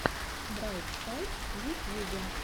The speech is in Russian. брайт сайд в ютьюбе